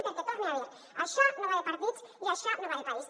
perquè ho torne a dir això no va de partits això va de país